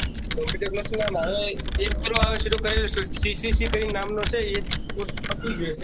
computer course માં એક પેલો આવે છે તે ccc નામનો છે તે કોર્સ પતિ ગયો છે